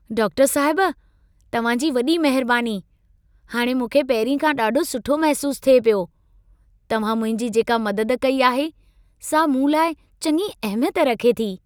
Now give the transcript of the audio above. डाक्टरु साहिब, तव्हां जी वॾी महिरबानी। हाणे मूंखे पहिरीं खां ॾाढो सुठो महसूसु थिए पियो। तव्हां मुंहिंजी जेका मदद कई आहे सां मूं लाइ चङी अहमियत रखे थी।